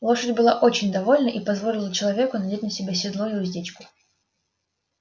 лошадь была очень довольна и позволила человеку надеть на себя седло и уздечку